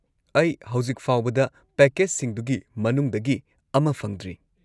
ꯑꯩ ꯍꯧꯖꯤꯛꯐꯥꯎꯕꯗ ꯄꯦꯀꯦꯖꯁꯤꯡꯗꯨꯒꯤ ꯃꯅꯨꯡꯗꯒꯤ ꯑꯃ ꯐꯪꯗ꯭ꯔꯤ